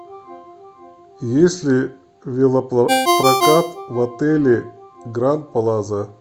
есть ли велопрокат в отеле гранд плаза